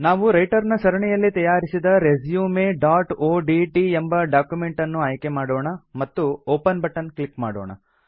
ನಾವು ರೈಟರ್ ನ ಸರಣಿಯಲ್ಲಿ ತಯಾರಿಸಿದ resumeಒಡಿಟಿ ಎಂಬ ಡಾಕ್ಯುಮೆಂಟ್ ಅನ್ನು ಆಯ್ಕೆ ಮಾಡೋಣ ಮತ್ತು ಒಪೆನ್ ಬಟನ್ ಕ್ಲಿಕ್ ಮಾಡೋಣ